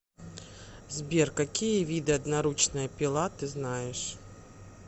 сбер какие виды одноручная пила ты знаешь